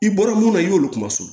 I bɔra mun na i y'olu kuma sɔn